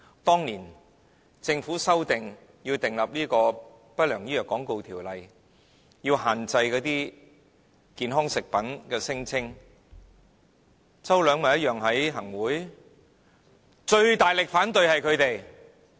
當年政府要定立《不良廣告條例》，要限制健康食品的聲稱時，周梁淑怡一樣在行政會議裏，但最大力反對的便是他們。